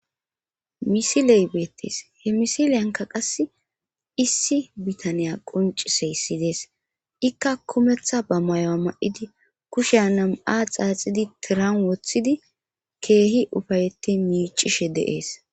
misiley beettes he misileyanka qass issi bitaniya quncise issidees ikka kumeththa ba mayoa ma7idi kushe nam7a xaaxidi tiran woththidi keehi ufayetti miicishe de7ees